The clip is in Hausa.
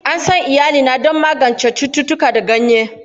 An san iyalina don magance cututtuka da ganye.